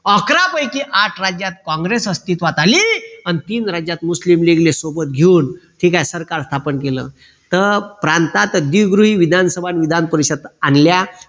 अकरा पैकी आठ राज्यात काँग्रेस अस्तित्वात आली अन तीन राज्यात मुस्लिम लीगले सोबत घेऊन ठीक आहे सरकार स्थापन केलं तर प्रांतात द्विगृही विधानसभा विधानपरिशद आणल्या